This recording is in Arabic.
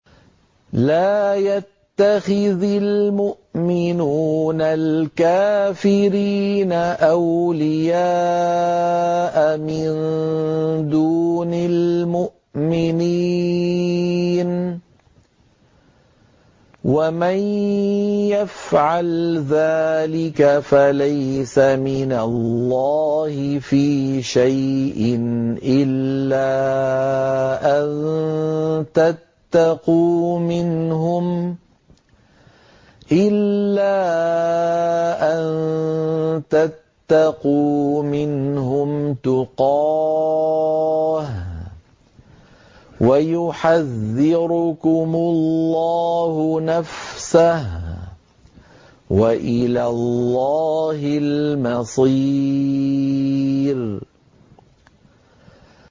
لَّا يَتَّخِذِ الْمُؤْمِنُونَ الْكَافِرِينَ أَوْلِيَاءَ مِن دُونِ الْمُؤْمِنِينَ ۖ وَمَن يَفْعَلْ ذَٰلِكَ فَلَيْسَ مِنَ اللَّهِ فِي شَيْءٍ إِلَّا أَن تَتَّقُوا مِنْهُمْ تُقَاةً ۗ وَيُحَذِّرُكُمُ اللَّهُ نَفْسَهُ ۗ وَإِلَى اللَّهِ الْمَصِيرُ